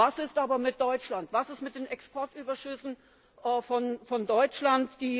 Was ist aber mit Deutschland, was ist mit den Exportüberschüssen von Deutschland?